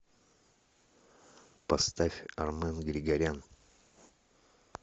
поставь армен григорян